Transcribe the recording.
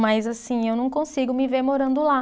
Mas, assim, eu não consigo me ver morando lá.